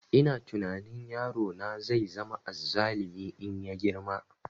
Ina tunani yaro na zai zama azzalumi in ya girma